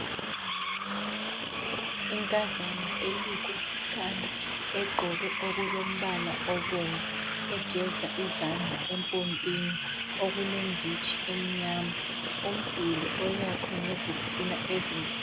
Inkazana elukwe ikhanda. Egqoke okolombala obomnvu. Egeza izandla empompini okulenditshi emnyama. Umduli oyakhiwe ngezitina ezinkulu.